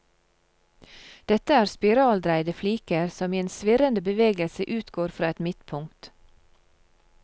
Dette er spiraldreide fliker som i en svirrende bevegelse utgår fra et midtpunkt.